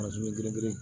girin girin